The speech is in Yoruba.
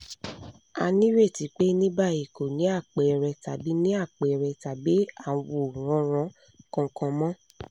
a nireti pé ní báyìí kò ní àpẹẹrẹ tàbí ní àpẹẹrẹ tàbí àwòránràn kankan mọ́